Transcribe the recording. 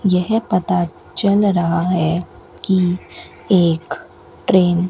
यह पता चल रहा है कि एक ट्रेन --